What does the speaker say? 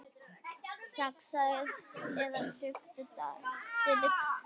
Saxaðu eða klipptu dillið.